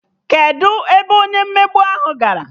Kedụ ebe onye mmegbu ahụ gara?